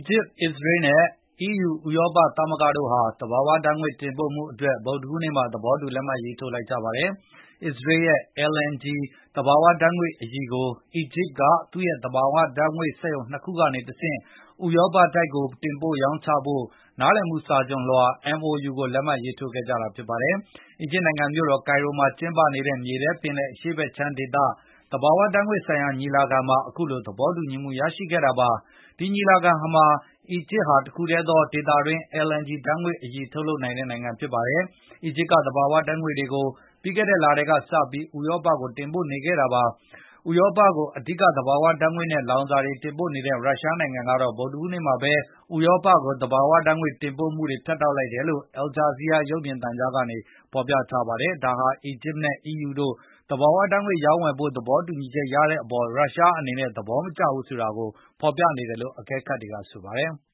ဂျစ်၊ အစ္စရေးနဲ့ EU ဥရောပသမဂ္ဂတို့ဟာ သဘာဝဓာတ်ငွေ့တင်ပို့မှုအတွက် ဗုဒ္ဓဟူး နေ့မှာ သဘောတူလက်မှတ်ရေးထိုးလိုက်ကြပါတယ်။ အစ္စရေးရဲ့ LNG သဘာဝဓာတ်ငွေ့အရည်ကို အီဂျစ်ကသူ့ရဲ့ သဘာဝဓာတ်ငွေ့စက်ရုံ၂ ခုကနေတဆင့် ဥရောပကိုတင်ပို့ရောင်းချဖို့ နားလည်မှုစာချွန်လွှာ MOU ကိုလက်မှတ် ရေးထိုးခဲ့ကြတာပါ။ အီဂျစ်နိုင်ငံမြို့တော် ကိုင်ရိုမှာ ကျင်းပနေတဲ့ မြေထဲပင်လယ် အရှေ့ဖက်ခြမ်းဒေသ သဘာဝဓတ်ငွေ့ ဆိုင်ရာညီလာခံမှာ အခုလိုသဘောတူညီချက်ရရှိခဲ့တာပါ။ ဒီညီလာခံမှာ အီဂျစ်ဟာတခုတည်းသော ဒေသတွင်း LNG ဓာတ်ငွေ့အရည်ထုတ်လုပ် နိုင်တဲ့နိုင်ငံဖြစ်ပါတယ်။ အီဂျစ်က သဘာဝဓာတ်ငွေ့တွေကိုပြီးခဲ့တဲ့လထဲကစတင်ပြီး ဥရောပကိုတင် ပို့နေခဲ့ တယ်လို့ လေ့လာသူတွေကပြောဆိုပါတယ်။ ဥရောပကိုအဓိက သဘာဝဓာတ်ငွေ့နဲ့လောင်စာဆီတွေတင်ပို့နေတဲ့ရုရှား နိုင်ငံက ဗုဒ္ဓဟူးနေ့မှာဘဲ ဥရောပကို သဘာဝဓာတ်ငွေတင်ပို့မှုတွေဖြတ်တောက်လိုက်တယ်လို့ အယ်ဂျာဇီးယား ရုပ်မြင်သံကြားကဖေါ်ပြပါတယ်။ ဒါဟာ အီဂျစ်နဲ့ EU တို့သဘာဝဓာတ်ငွေ့ရောင်းဝယ်ဖို့ သဘောတူညီချက်ရတဲ့အပေါ် ရုရှားအနေနဲ့ သဘောမကျတာကိုဖေါ်ပြနေတယ်လို့ အကဲခတ်တွေကပြောဆိုပါတယ်။